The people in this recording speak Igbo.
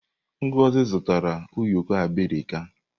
Ngozi zụtara ụyọkọ abirika.